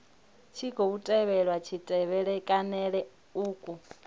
tshi khou tevhelwa kutevhekanele uku